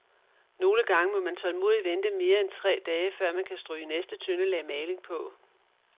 Nogle gange må man tålmodigt vente mere end tre dage, før man kan stryge næste tynde lag maling på.